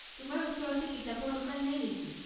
তোমাৰ ওচৰতে কিতাপৰ দোকান নাই নেকি?